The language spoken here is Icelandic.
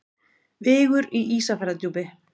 Vigur í Ísafjarðardjúpi.